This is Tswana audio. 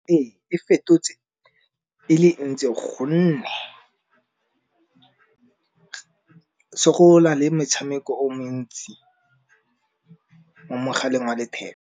Ee, e fetotse e le ntsi gonne le metshameko o mentsi mo mogaleng wa letheka.